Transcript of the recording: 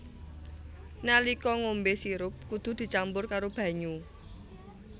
Nalika ngombé sirup kudu dicampur karo banyu